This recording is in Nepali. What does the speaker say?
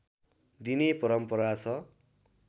दिने परम्परा छ